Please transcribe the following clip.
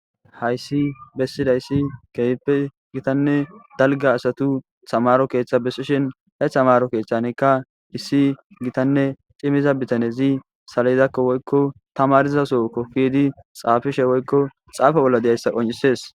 hayssi bessidayssi keehippe gitanne dalga asatu tamaro keeththa bessishin he hamaro keeththanekka dhissi gitanne cimiza bitanezi salidakko woykko tamariza sokofiidi xaafishe woykko xaafa bolla deyayssa qoncisees